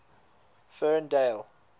ferndale